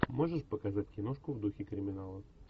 можешь показать киношку в духе криминала